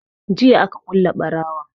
Jiya aka kule ɓarawon